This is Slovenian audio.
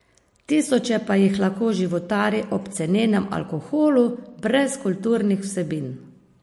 Tisoče pa jih lahko životari ob cenenem alkoholu, brez kulturnih vsebin.